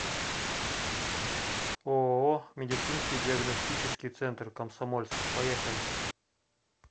ооо медицинский диагностический центр комсомольск поехали